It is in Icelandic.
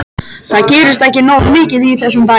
Það gerist ekki nógu mikið í þessum bæ.